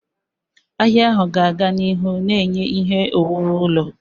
Ahịa ahụ ga-aga n'ihu na-enye ihe owuwu ụlọ.